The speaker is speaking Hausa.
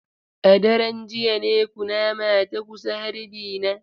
A daren jiya ne kunama ta kusa harbi na.